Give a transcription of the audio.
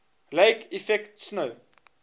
lake effect snow